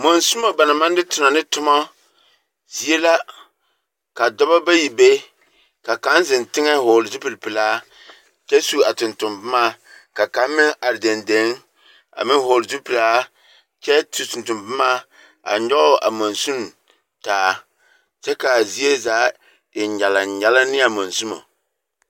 Masumo ba naŋ maŋ de tona ne toma zie la. Ka dɔbɔ bayi be. Ka kaŋa zeŋ teŋɛ hɔgele zupili pelaa kyɛ su a tontomboma ka kaŋ meŋ dendeŋe kyɛ su a tontomboma a nyɔge a mansini taa kyɛ ka zie zaa e nyalaŋnyalaŋ ne a masumo.